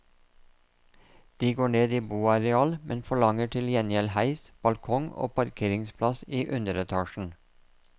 De går ned i boareal, men forlanger til gjengjeld heis, balkong og parkeringsplass i underetasjen.